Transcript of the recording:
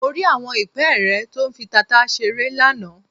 Mo rí àwọn ìpẹ́ẹ́rẹ́ tó fi tata ṣeré lánàá.